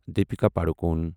Deepika Padukone